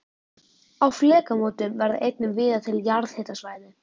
Á flekamótum verða einnig víða til jarðhitasvæði.